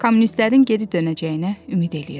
Kommunistlərin geri dönəcəyinə ümid eləyirdi.